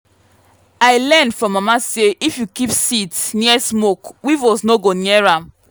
i learn from mama say if you keep seeds near smoke weevils no go near am.